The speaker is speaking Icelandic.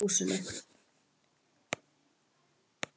Reykurinn liðast ekki lengur upp um strompinn á húsinu